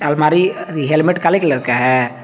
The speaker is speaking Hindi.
अलमारी हेलमेट काले कलर का है।